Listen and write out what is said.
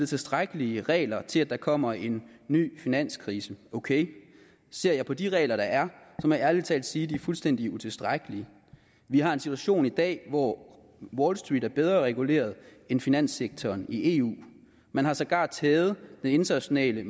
tilstrækkelige regler til hvis der kommer en ny finanskrise okay ser jeg på de regler der er må jeg ærlig talt sige at de er fuldstændig utilstrækkelige vi har en situation i dag hvor wall street er bedre reguleret end finanssektoren i eu man har sågar taget den internationale